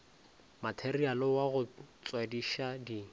materiale wa go tswadiša di